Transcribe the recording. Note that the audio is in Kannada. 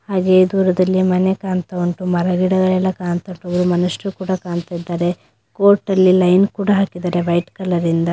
ಹಾಗೆ ದೂರದಲ್ಲಿ ಮನೆ ಕಾಣ್ತಾ ಉಂಟು ಹಾಗೂ ಮರ ಗಿಡಗಳು ಕಾಣ್ತಾ ಉಂಟು ಮನುಷ್ಯಗಳು ಕೂಡ ಕಾಣ್ತಾ ಇದಾರೆ. ಕೋರ್ಟಲ್ಲಿ ಲೈನ್ ಕೂಡ ಹಾಕಿದ್ದಾರೆ ವೈಟ್ ಕಲರಿಂದ .